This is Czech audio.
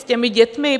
S těmi dětmi?